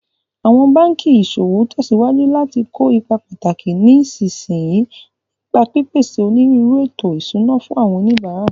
Awọn banki iṣowo tẹsiwaju lati ko ipa pataki ní ìsinsìnyí, nípa pípèsè onírúurú ètò ìṣúná fún àwọn oníbàárà.